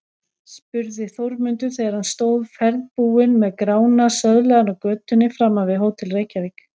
spurði Þórmundur þegar hann stóð ferðbúinn með Grána söðlaðan á götunni framan við Hótel Reykjavík.